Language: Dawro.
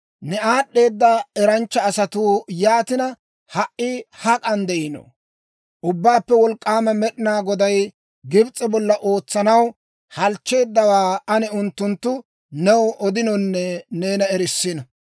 Ne aad'd'eeda eranchcha asatuu yaatina ha"i hak'an de'iino? Ubbaappe Wolk'k'aama Med'inaa Goday Gibs'e bolla ootsanaw halchcheeddawaa ane unttunttu new odinonne neena erissino.